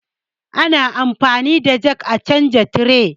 Ana anfani da jak a canja tire